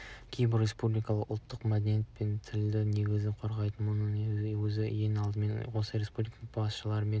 кейбір республикаларда ұлттық мәдениет пен тілдің негізі қорғалмайды мұның өзі ең алдымен осы республиканың басшылары мен